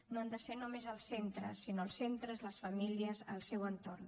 no han de ser només els centres sinó els centres les famílies el seu entorn